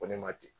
Ko ne ma ten